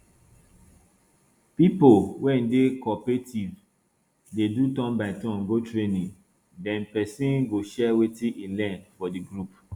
pipo wey dey coopertaive dey do turn by turn go training then person go share wetin e learn for di group